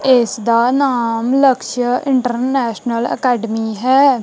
ਇਸ ਦਾ ਨਾਮ ਲਕਸ਼ ਇੰਟਰਨੈਸ਼ਨਲ ਅਕੈਡਮੀ ਹੈ।